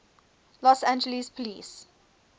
los angeles police